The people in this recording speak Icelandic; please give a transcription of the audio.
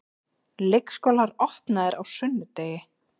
Leikskólar opnaðir á sunnudegi